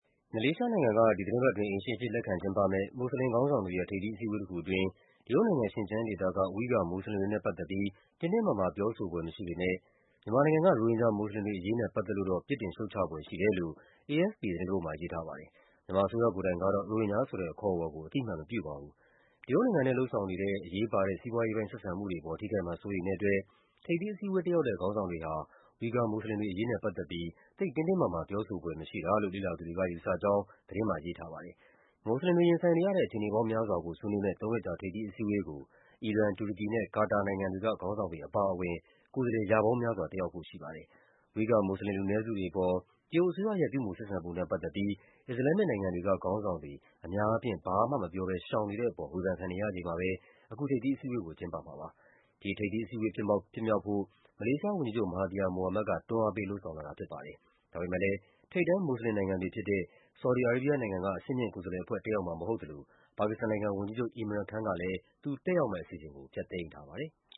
မလေးရှားနိုင်ငံက ဒီသီတင်းပတ်အတွင်း အိမ်ရှင်အဖြစ် လက်ခံကျင်းပမယ့် မွတ်ဆလင်ခေါင်းဆောင်တွေရဲ့ ထိပ်သီးအစည်း အဝေးတခုအတွင်း တရုတ်နိုင်ငံ၊ ရှင်ကျန်းဒေသက Uighur မွတ်ဆလင်တွေနဲ့ပတ်သက်ပြီး တင်းတင်းမာမာ ပြောဆိုဖွယ်မရှိပေ မယ့် မြန်မာနိုင်ငံက ရိုဟင်ဂျာ မွတ်ဆလင်တွေအရေးနဲ့ ပတ်သက်လို့တော့ ပြစ်တင်ရှုတ်ချဖွယ်ရှိတယ်လို့ AFP သတင်းတပုဒ်မှာ ရေးထားပါတယ်။ မြန်မာအစိုးရ ကိုယ်တိုင်ကတော့ ရိုဟင်ဂျာဆိုတဲ့ အခေါ်အဝေါ်ကို အသိအမှတ်မပြုပါဘူး။ တရုတ်နိုင်ငံနဲ့ လုပ်ဆောင်နေတဲ့ အရေးပါတဲ့ စီးပွားရေးပိုင်းဆက်ဆံမှုတွေအပေါ် ထိခိုက်မှာ စိုးရိမ်တဲ့အတွက် ထိပ်သီး အစည်းအဝေး တက်ရောက်တဲ့ခေါင်းဆောင်တွေဟာ Uighur မွတ်ဆလင်တွေအရေးနဲ့ပတ်သက်ပြီး သိပ်တင်းတင်းမာမာ ပြောဆို ဖွယ်မရှိတာလို့ လေ့လာသူတွေက ယူဆကြောင်း သတင်းမှာရေးထားပါတယ်။ မွတ်ဆလင်တွေ ရင်ဆိုင်နေရတဲ့ အခြေအနေပေါင်းများစွာကို ဆွေးနွေးမယ့် သုံးရက်ကြာ ထိပ်သီးအစည်းအဝေးကို အီရန်၊ တူရကီနဲ့ ကာတာနိုင်ငံတွေက ခေါင်းဆောင်တွေအပါအဝင် ကိုယ်စားလှယ် ရာပေါင်းများစွာ တက်ရောက်ဖို့ရှိပါတယ်။ Uighur မွတ်ဆလင် လူနည်းစုတွေအပေါ် တရုတ်အစိုးရရဲ့ ပြုမူဆက်ဆံပုံနဲ့ပတ်သက်ပြီး အစ္စလာမ်မစ်နိုင်ငံတွေက ခေါင်းဆောင် တွေ အများအားဖြင့် ဘာမှမပြောဘဲ ရှောင်နေတဲ့အပေါ် ဝေဖန်ခံနေရချိန်မှာပဲ အခု ထိပ်သီးအစည်းအဝေးကို ကျင်းပမှာပါ။ ဒီထိပ်သီးအစည်းအဝေး ဖြစ်မြောက်ဖို့ မလေးရှားဝန်ကြီးချုပ် မဟာသီယာ မိုဟာမက်ဒ်က တွန်းအားပေး လုပ်ဆောင်လာတာဖြစ်ပါ တယ်။ ဒါပေမယ့်လည်း ထိပ်တန်း မွတ်ဆလင်နိုင်ငံတွေဖြစ်တဲ့ ဆော်ဒီ အာရေးဘီးယားနိုင်ငံက အဆင့်မြင့်ကိုယ်စားလှယ်အဖွဲ့ တက်ရောက်မှာမဟုတ်သလို ပါကစ္စတန်နိုင်ငံဝန်ကြီးချုပ် Imran Khan ကလည်း သူတက်ရောက်မယ့်အစီအစဉ်ကို ဖျက်သိမ်း ထားပါတယ်။